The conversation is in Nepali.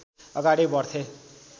अगाडि बढ्थे